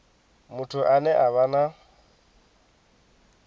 muthu ane a vha na